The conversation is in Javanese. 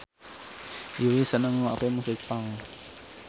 Yui seneng ngrungokne musik punk